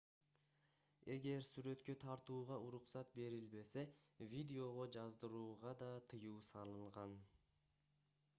эгер сүрөткө тартууга уруксат берилбесе видеого жаздырууга да тыюу салынган